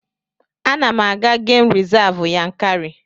Ana m aga Gem Rizavụ Yankari.